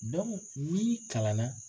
n'i kalan na.